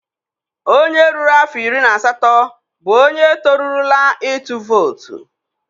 Onye ruru afọ iri na asatọ bụ onye torurula ịtụ vootu.